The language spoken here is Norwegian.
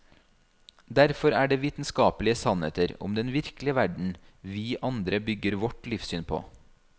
Derfor er det vitenskapelige sannheter om den virkelige verden vi andre bygger vårt livssyn på.